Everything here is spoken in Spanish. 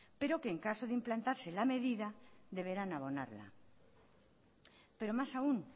pero que en caso de implantarse la medida deberán abonarla pero más aún